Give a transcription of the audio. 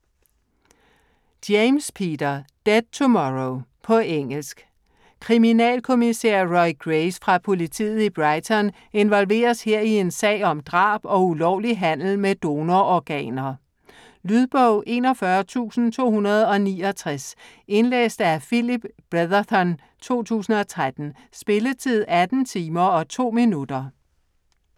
James, Peter: Dead tomorrow På engelsk. Kriminalkommissær Roy Grace fra politiet i Brighton involveres her i en sag om drab og ulovlig handel med donororganer. Lydbog 41269 Indlæst af Phillip Bretherton, 2013. Spilletid: 18 timer, 2 minutter.